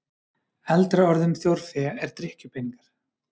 Eldra orð um þjórfé er drykkjupeningar.